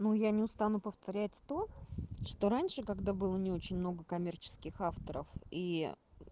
ну я не устану повторять то что раньше когда было не очень много коммерческих авторов и